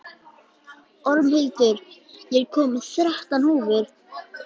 Ormhildur, ég kom með þrettán húfur!